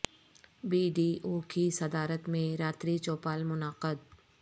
be D O کی صدارت میں راتری چوپال منعقد